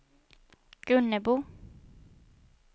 Gunnebo